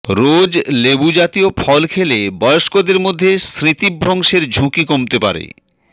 রোজ লেবুজাতীয় ফল খেলে বয়স্কদের মধ্যে স্মৃতিভ্রংশের ঝুঁকি কমতে পারে